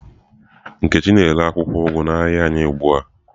Nkechi na-ere akwụkwọ ugu n'ahịa anyị ugbu a.